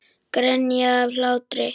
Grenja af hlátri.